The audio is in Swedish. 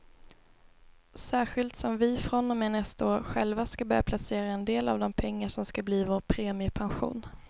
Särskilt som vi från och med nästa år själva ska börja placera en del av de pengar som ska bli vår premiepension.